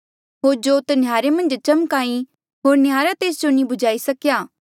होर जोत नह्यारे मन्झ चम्का ई होर नह्यारा तेस जो नी बुझाई सकेया